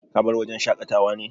Ka bar wajen shakata wa ne?